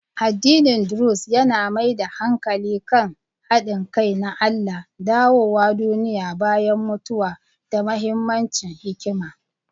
Addinin Druze yana mai da hankali kan haɗin kai na Allah, dawowa duniya bayan mutuwa, da mahimmancin hikima.